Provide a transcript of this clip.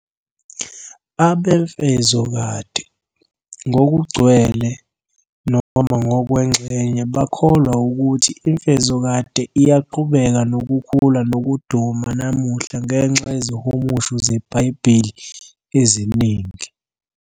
Abemfezokade, ngokugcwele noma ngokwengxenye, bakholwa ukuthi imfezokade iyaqhubeka nokukhula nokuduma namuhla ngenxa yezihumusho zebhayibheli eziningi.